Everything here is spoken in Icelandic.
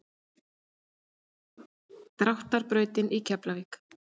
Dráttar brautinni í Keflavík.